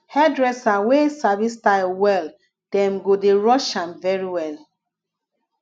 hairdresser wey sabi style well dem go dey rush am very well